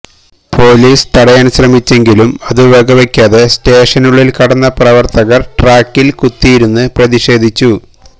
police തടയാൻ ശ്രമിച്ചെങ്കിലും അതു വകവെക്കാതെ സ്റ്റേഷനുള്ളിൽ കടന്ന പ്രവർത്തകർ ട്രാക്കിൽ കുത്തിയിരുന്ന് പ്രതിഷേധിച്ചു